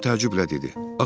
Tom təəccüblə dedi.